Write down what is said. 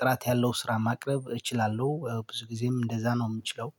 ጥራት ያለው ስራ ማቅረብ እችላለሁ ብዙ ጊዜም እንደዛ ነው የምችለው።